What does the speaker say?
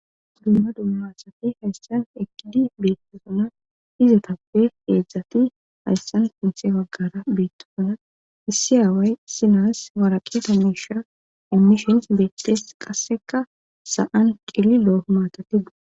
Dumma dummasati hayssan ekidi beettosuna izotappe eedzdzati hayssan funthe waggara beettosuna issi aaway sinas waraqeta mesha emmishen beettes qasseka sa7an qili loo maatatidu.